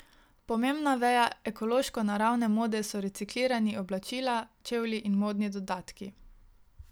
Pomembna veja ekološko naravnane mode so reciklirani oblačila, čevlji in modni dodatki.